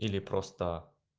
или просто